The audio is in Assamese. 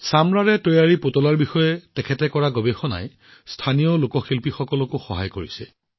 চামৰাৰ পুতলাৰ ওপৰতো তেওঁ বহু গৱেষণা কৰিছে যাৰ ফলত তাত স্থানীয় লোকশিল্পীসকল উপকৃত হৈছে